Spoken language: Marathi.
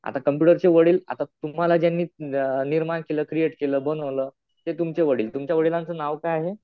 आता कम्पुटरचे वडील, आता तुम्हाला ज्यांनी निर्माण केलं, क्रिएट केलं, बनवलं ते तुमचे वडील. तुमच्या वडिलांचं नाव काय आहे?